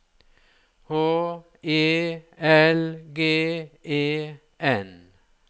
H E L G E N